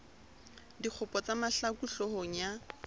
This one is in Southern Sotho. dikgopo tsa mahlaku hloohong ya